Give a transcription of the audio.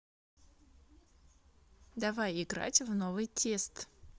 давай играть в новый тест